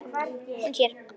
Hún sér